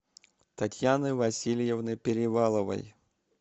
татьяны васильевны переваловой